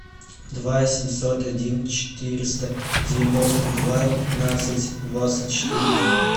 два семьсот один четыреста девяносто два пятнадцать двадцать четыре